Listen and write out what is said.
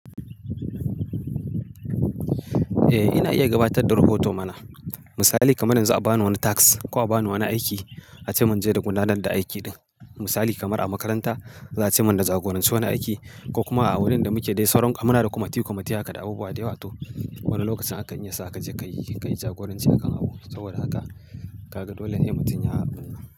Eh, ina iya gabatar da rahoto mana. Misali kamar yanzu a ba ni wani task ko a ba ni wani aiki a ce mun je da gudanar da aiki ɗin. Misali kamar a makaranta za a ce mun da jagoranci wani aiki ko kuma a wurin da muke dai sauran ka muna da kwamati-kwamati haka da abubuwa da yawa to wani lokacin akan iya sa ka je ka yi jagoranci akan abu. Saboda haka ka ga dole ne mutum ya abu.